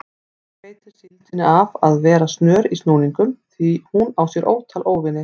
Ekki veitir síldinni af að vera snör í snúningum því hún á sér ótal óvini.